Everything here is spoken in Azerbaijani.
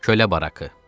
Kölə barakı.